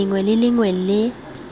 lengwe le lengwe le le